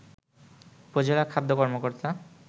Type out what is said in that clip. উপজেলা খাদ্য কর্মকর্তা